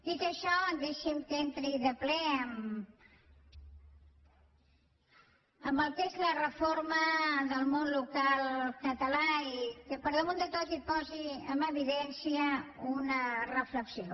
dit això deixi’m que entri de ple en el que és la reforma del món local català i que per damunt de tot posi en evidència una reflexió